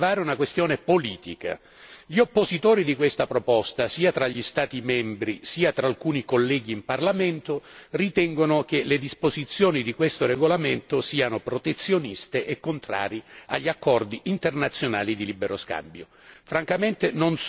Voglio invece rilevare una questione politica. Gli oppositori di questa proposta, sia tra gli Stati membri sia tra alcuni colleghi in Parlamento, ritengono che le disposizioni di questo regolamento siano protezioniste e contrarie agli accordi internazionali di libero scambio.